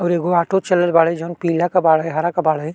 और एगो आटो चलल बाड़े जौन पीला के बाड़े हरा के बाड़े।